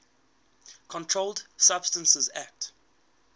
controlled substances acte